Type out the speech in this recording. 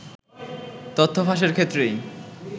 তথ্য ফাঁসের ক্ষেত্রেই